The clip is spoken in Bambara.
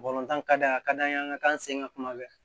ka d'a a ka d'an ye an ŋa k'an sen ka kuma bɛɛ